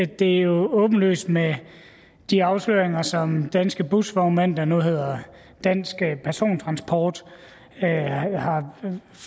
det jo er åbenlyst med de afsløringer som danske busvognmænd der nu hedder dansk persontransport har